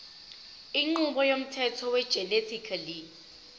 inqubo yomthetho wegenetically